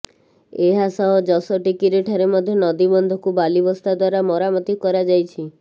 ଏହା ସହ ଯଶୋଟିକିରି ଠାରେ ମଧ୍ୟ ନଦୀବନ୍ଧକୁ ବାଲିବସ୍ତା ଦ୍ୱାରା ମରାମତି କରାଯାଇଛି